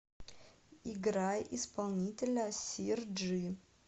играй исполнителя сир джи